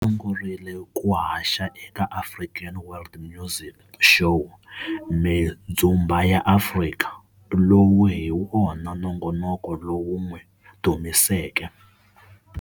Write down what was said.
Sungurile ku haxa eka African World Music Show Mindhzumba ya Afrika, lowu hi wona nongonoko lowu wun'wi dumiseke.